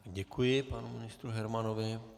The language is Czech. Děkuji panu ministru Hermanovi.